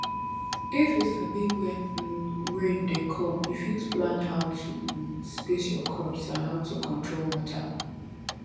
if you sabi when um rain dey come you fit plan how to um space your crops and how to control water